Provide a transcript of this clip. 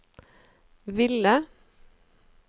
ville